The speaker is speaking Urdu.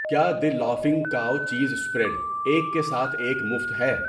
کیا the laughing cow cheese spread 'ایک کے ساتھ ایک مفت' ہے؟